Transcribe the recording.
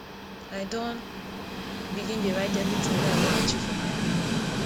i don begin dey write everytin wey i wan achieve for my book